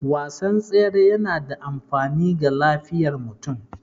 Wasan tsere yana da amfani ga lafiyar mutum